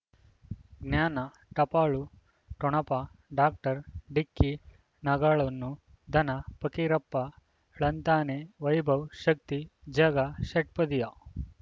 ಜ್ಞಾನ ಟಪಾಲು ಠೊಣಪ ಡಾಕ್ಟರ್ ಢಿಕ್ಕಿ ಣಗಳನು ಧನ ಫಕೀರಪ್ಪ ಳಂತಾನೆ ವೈಭವ್ ಶಕ್ತಿ ಝಗಾ ಷಟ್ಪದಿಯ